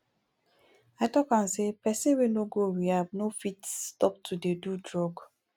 i talk am sey pesin wey no go rehab no fit stop to dey do drug